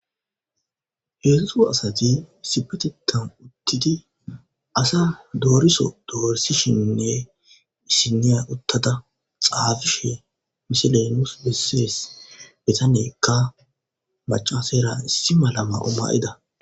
Heedzu asati sipetitan uttidi asa dooriso doorisishinnne issiniya uttada xaafishe mishelenus bissees betanekka macaaseera issi malama oma7ida